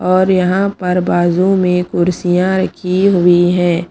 और यहां पर बाजू में कुर्सियां की हुई हैं।